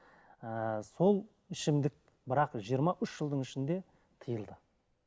ыыы сол ішімдік бірақ жиырма үш жылдың ішінде тиылды